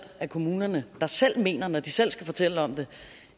af kommunerne der selv mener når de selv skal fortælle om det